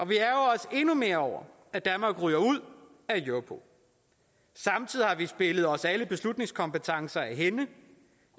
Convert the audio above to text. vi ærgrer os endnu mere over at danmark ryger ud af europol samtidig har vi spillet os alle beslutningskompetencer af hænde